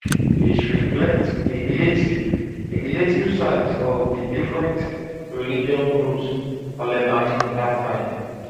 dis reflect di relative di relative um sizes of di different religious groups for lebanon dat time